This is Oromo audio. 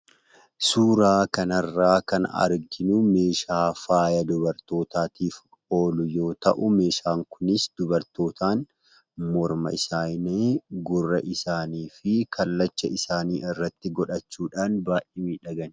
Suuraa kanarraa kan arginu meeshaa faaya dubartootaatiif oolu yoo ta'u, meeshaan kunis dubartootaan morma isaanii, gurra isaanii fi kallacha isaanii irratti godhachuudhaan baay'ee miidhaganiidha.